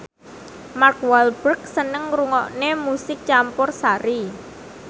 Mark Walberg seneng ngrungokne musik campursari